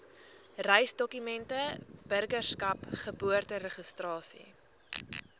reisdokumente burgerskap geboorteregistrasie